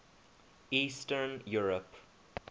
eastern europe